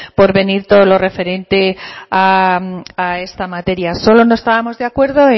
por venir todo lo referente a esta materia solo no estábamos de acuerdo